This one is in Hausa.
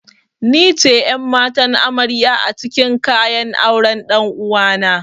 Nice ƴan'matan amarya acikin kayan auren ɗan'uwana.